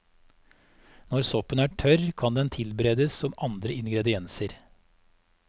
Når soppen er tørr, kan den tilberedes som andre ingredienser.